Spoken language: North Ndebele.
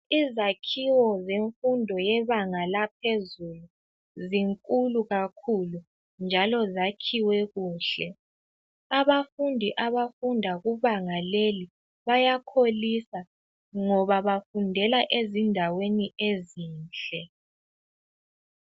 izakhiwo zemfundo yebanga laphezulu zinkulu kakhulu njalo zakhiwe kuhle abafundi abafunda kubanga leli bayakholisa ngoba bafundela ezindaweni ezinhle